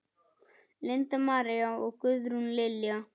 Linda María og Guðrún Lilja.